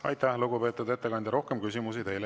Aitäh, lugupeetud ettekandja!